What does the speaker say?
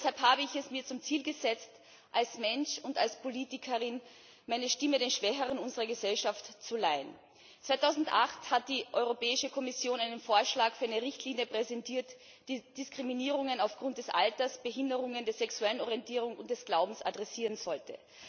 Deshalb habe ich es mir zum Ziel gesetzt, als Mensch und als Politikerin meine Stimme den Schwächeren unserer Gesellschaft zu leihen. 2008 hat die Europäische Kommission einen Vorschlag für eine Richtlinie präsentiert, die Diskriminierungen aufgrund des Alters, Behinderung, der sexuellen Orientierung und des Glaubens adressieren sollte.